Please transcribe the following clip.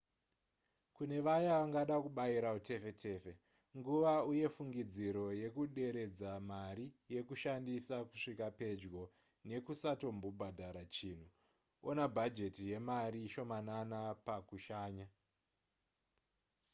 kune vaya vangada kubayira utefetefe nguva uye fungidziro yekuderedza mari yekushandisa kusvika pedyo nekusatombobhadhara chinhu ona bhajeti yemari shomanana pakushanya